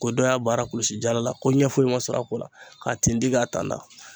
Ko dɔ y'a baara kɔlɔsi jala ko ɲɛ foyi ma sɔrɔ a ko la, k'a tindi ka tanda